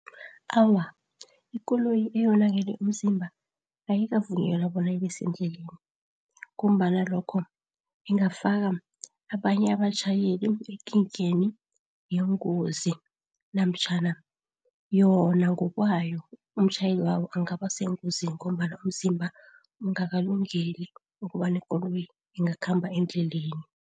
Awa, ikoloyi eyonakele umzimba ayikavunyelwa bona ibesendleleni, ngombana lokho ingafaka abanye abatjhayeli ekingeni yengozi. Namtjhana yonangokwayo umtjhayeli wayo angabasengozini ngombana umzimba ungakalungeli ukobana ikoloyi ingakhamba endleleni.